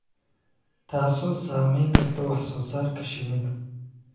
taasoo saameyn karta wax soo saarka shinnida.